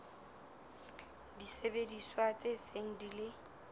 disebediswa tse seng di ile